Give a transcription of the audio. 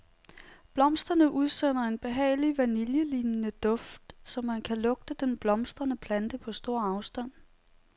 Blomsterne udsender en behagelig vaniljelignende duft, så man kan lugte den blomstrende plante på stor afstand.